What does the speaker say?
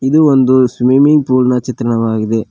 ಇದು ಒಂದು swimming pool ನ ಚಿತ್ರಣವಾಗಿದೆ.